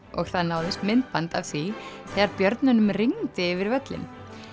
og það náðist myndband af því þegar rigndi yfir völlinn